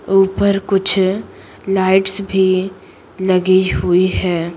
ऊपर कुछ लाइट्स भी लगी हुई है।